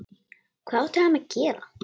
Hvað átti hann að gera?